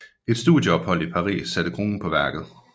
Et studieophold i Paris satte kronen på værket